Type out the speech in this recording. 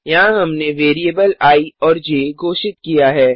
यहाँ हमने variable I और ज घोषित किया है